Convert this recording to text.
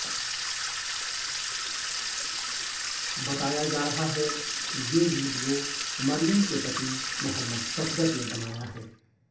बताया जा रहा है ये वीडियो मरयम के पति मुहम्मद सफदर ने बनाया है